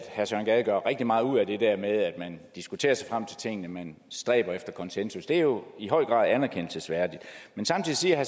gade gør rigtig meget ud af nemlig at man diskuterer sig frem til tingene man stræber efter konsensus det er jo i høj grad anerkendelsesværdigt men samtidig siger